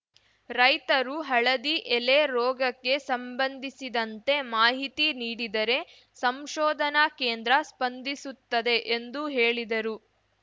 ರೈತರು ಹಳದಿ ಎಲೆ ರೋಗಕ್ಕೆ ಸಂಬಂಧಿಸಿದಂತೆ ಮಾಹಿತಿ ನೀಡಿದರೆ ಸಂಶೋದನಾ ಕೇಂದ್ರ ಸ್ಪಂದಿಸುತ್ತದೆ ಎಂದು ಹೇಳಿದರು